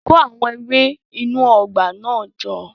Kó àwọn ewé inú ọgbà náà jọ